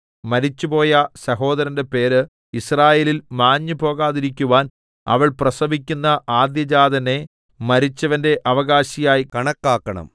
മരിച്ചുപോയ സഹോദരന്റെ പേര് യിസ്രായേലിൽ മാഞ്ഞുപോകാതിരിക്കുവാൻ അവൾ പ്രസവിക്കുന്ന ആദ്യജാതനെ മരിച്ചവന്റെ അവകാശിയായി കണക്കാക്കണം